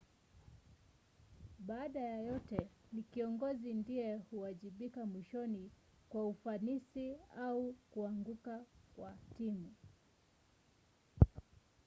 baada ya yote ni kiongozi ndiye huwajibika mwishoni kwa ufanisi au kuanguka kwa timu